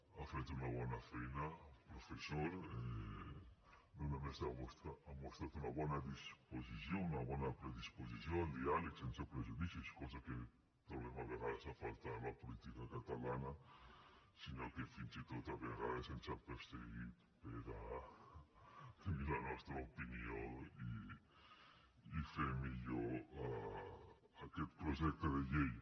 ha fet una bona feina professor no només ha mostrat una bona disposició una bona predisposició al diàleg sense prejudicis cosa que trobem a vegades a faltar a la política catalana sinó que fins i tot a vegades ens ha perseguit per a tenir la nostra opinió i fer millor aquest projecte de llei